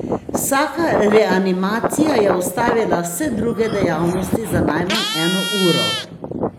Vsaka reanimacija je ustavila vse druge dejavnosti za najmanj eno uro.